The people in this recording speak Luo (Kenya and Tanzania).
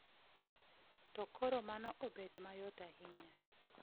To koro mano obet mayot ahinya.